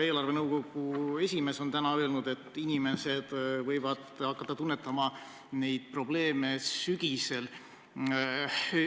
Eelarvenõukogu esimees ütles täna, et inimesed võivad hakata tunnetama neid probleeme sügisel.